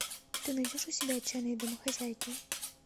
ты найдешь у себя отчаянные домохозяйки